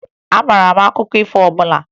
Ị maara akụkọ ifo ọbụla?